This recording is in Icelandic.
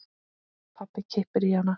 Pabbi kippir í hana.